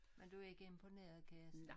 Men du ikke imponeret kan jeg se